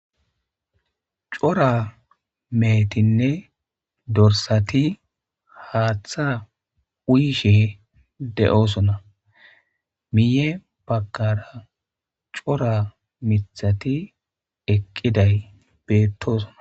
cora meetinne dorsati haaththa uyishe de7osona miye bagkara cora mithati eqqiday beettoosona